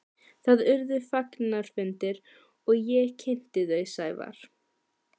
Það urðu fagnaðarfundir og ég kynnti þau Sævar.